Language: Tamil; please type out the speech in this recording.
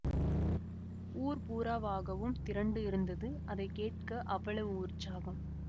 ஊர் பூராவாகவும் திரண்டு இருந்தது அதை கேட்க அவ்வளவு உற்சாகம்